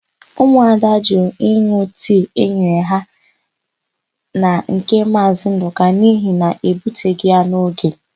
Ụmụada jụrụ ịn̄ụ tii e nyere ha na nke Maazị Ndụka n'ihi na ebuteghị ya n'oge.